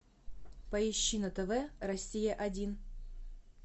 поищи на тв россия один